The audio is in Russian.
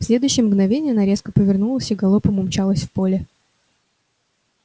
в следующее мгновенье она резко повернулась и галопом умчалась в поле